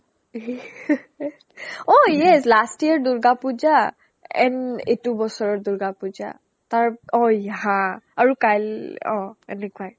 ঐ o yes last year durga puja and এইটো বছৰৰ durga puja তাৰ o yeah হা আৰু কাইল অ এনেকুৱাই